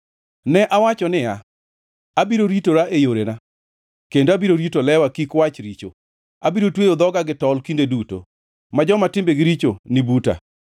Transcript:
Ne awacho niya, “Abiro ritora e yorena, kendo abiro rito lewa kik wach richo; abiro tweyo dhoga gi tol kinde duto ma joma timbegi richo ni buta.”